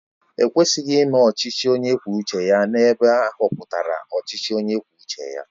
E kwesịghị ime ọchịchị onye kwuo uche ya ebe ahọpụtara ọchịchị onye kwuo uche ya